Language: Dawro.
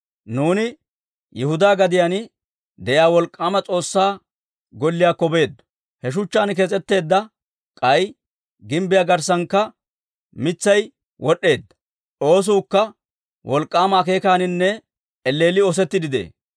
«Nuuni Yihudaa gadiyaan de'iyaa wolk'k'aama S'oossaa Golliyaakko beeddo. He shuchchaan kees's'etteedda; k'ay gimbbiyaa garssankka mitsay wod'd'eedda. Oosuukka wolk'k'aama akeekaaninne elleelli oosettiidde de'ee.